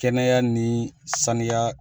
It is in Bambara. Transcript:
Kɛnɛya ni saniya